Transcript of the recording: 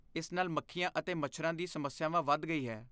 ਇਸ ਨਾਲ ਮੱਖੀਆਂ ਅਤੇ ਮੱਛਰਾਂ ਦੀ ਸਮੱਸਿਆ ਵਧ ਗਈ ਹੈ।